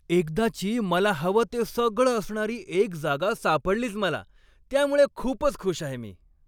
एकदाची, मला हवं ते सगळं असणारी एक जागा सापडलीच मला, त्यामुळे खूपच खुश आहे मी.